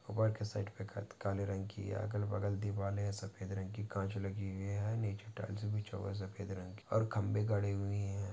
Work side पे काले रंग की अगल बगल दीवारे है सफ़ेद रंग की काच लगी हुई है नीचे टाईल्स बिछा हुवा है सफ़ेद रंग की और खंबे गड़े हुये है।